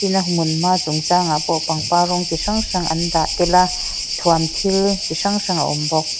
a hmunhma chung changa pawh pangpar rawng chi hrang hrang an dah tel a thuam thil chi hrang hrang a awm bawk.